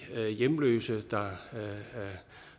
hjemløse der